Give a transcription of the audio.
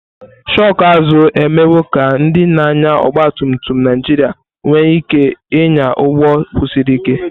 shoku azu emewo ka ndị na-anya ọgba tum tum Naijiria nwee ike ịnya ụgbọ kwụsiri ike.